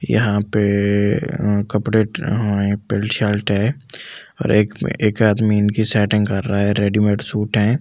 यहाँ पे ए ए ए अह कपड़े ट ए पेन शलट है एक आदमी इनकी सेटिंग कर रहा है रेडीमैड सूट है।